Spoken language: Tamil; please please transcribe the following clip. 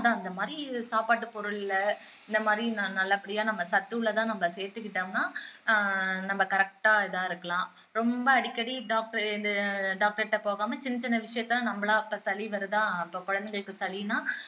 அதான் அந்த மாதிரி சாப்பாட்டு பொருள்ல இந்த மாதிரி நல்லாபடியா நம்ம சத்துள்ளதா நம்ம சேர்த்துகிக்கிட்டோம்னா ஆஹ் நம்ம correct ஆ இதா இருக்கலாம் ரொம்ப அடிக்கடி doctor இந்த doctor கிட்ட போகாம சின்ன சின்ன விஷயத்துல எல்லாம் நம்மளா இப்போ சளி வருதா ஆஹ் இப்போ குழந்தைங்களுக்கு சளின்னா